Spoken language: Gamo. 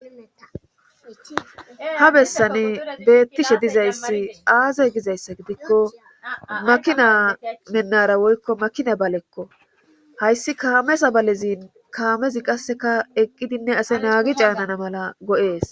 Ha bessane beettishe dizayssi aaze gizayssa gidikko makina mennara woykko makina balekko hayssi kaamesa balezin kaamezi qasseka eqqidinne ase naagi caanana mala go'ees.